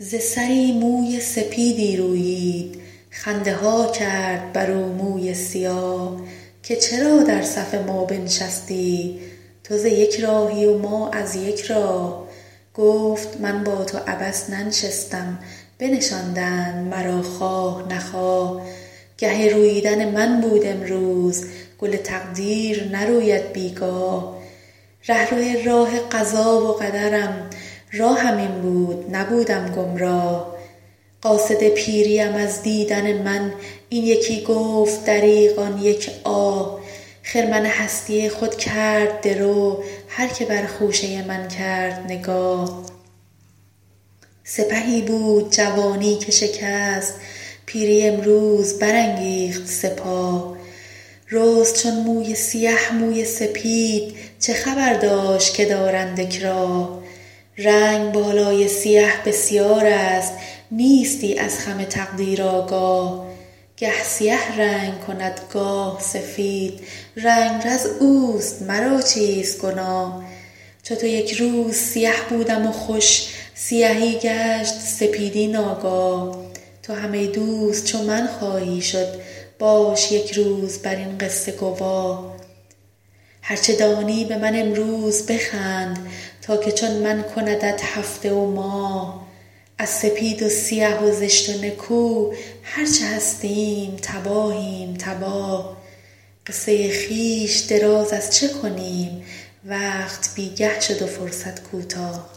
ز سری موی سپیدی رویید خنده ها کرد بر او موی سیاه که چرا در صف ما بنشستی تو ز یک راهی و ما از یک راه گفت من با تو عبث ننشستم بنشاندند مرا خواه نخواه گه روییدن من بود امروز گل تقدیر نروید بیگاه رهرو راه قضا و قدرم راهم این بود نبودم گمراه قاصد پیری ام از دیدن من این یکی گفت دریغ آن یک آه خرمن هستی خود کرد درو هر که بر خوشه من کرد نگاه سپهی بود جوانی که شکست پیری امروز برانگیخت سپاه رست چون موی سیه موی سپید چه خبر داشت که دارند اکراه رنگ بالای سیه بسیار است نیستی از خم تقدیر آگاه گه سیه رنگ کند گاه سفید رنگرز اوست مرا چیست گناه چو تو یکروز سیه بودم و خوش سیهی گشت سپیدی ناگاه تو هم ای دوست چو من خواهی شد باش یک روز بر این قصشه گواه هر چه دانی به من امروز بخند تا که چون من کندت هفته و ماه از سپید و سیه و زشت و نکو هر چه هستیم تباهیم تباه قصه خویش دراز از چه کنیم وقت بیگه شد و فرصت کوتاه